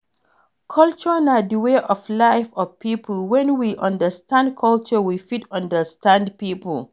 Culture na di way of life of pipo, when we understand culture we fit understand pipo